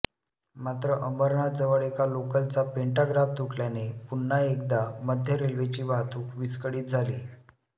मात्र अंबरनाथजवळ एका लोकलचा पेंटाग्राफ तुटल्याने पुन्हा एकदा मध्य रेल्वेची वाहतूक विस्कळीत झाली